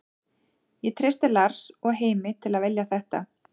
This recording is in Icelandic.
Ég treysti Lars og Heimi til að velja þetta.